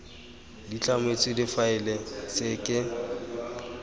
di tlametswe difaele tse ke